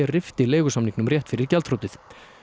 rifti leigusamningnum rétt fyrir gjaldþrotið